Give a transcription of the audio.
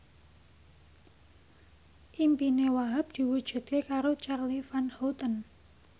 impine Wahhab diwujudke karo Charly Van Houten